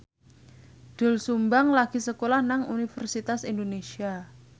Doel Sumbang lagi sekolah nang Universitas Indonesia